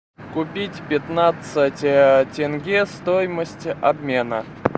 купить пятнадцать тенге стоимость обмена